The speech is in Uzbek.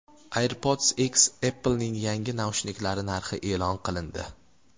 AirPods X: Apple’ning yangi naushniklari narxi e’lon qilindi.